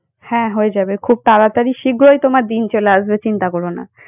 হ্যাঁ হয়ে যাবে খুব তাড়াতাড়ি শীঘ্রই তোমার দিন চলে আসবে চিন্তা করো না।